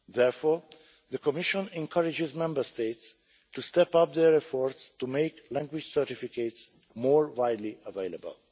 Therefore, the Commission encourages Member States to step up their efforts to make language certificates more widely available.